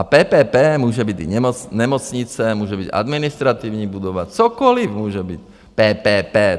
A PPP může být i nemocnice, může být administrativní budova, cokoli může být PPP.